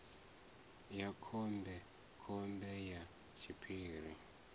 ya khombe khombe ya tshiphiri